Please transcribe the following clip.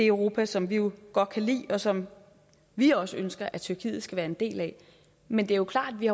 europa som vi jo godt kan lide og som vi også ønsker tyrkiet skal være en del af men det er klart at vi